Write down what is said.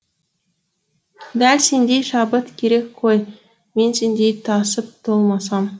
дәл сендей шабыт керек қой мен сендей тасып толмасам